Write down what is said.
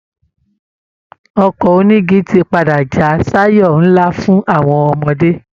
Ọkọ̀ onígi ti padà já sáyọ̀ ńlá fún àwọn ọmọdé